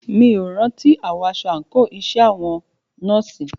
Mí ò rántí àwọ̀ aṣọ àńkò iṣẹ́ àwọn nọ́ọ̀sì.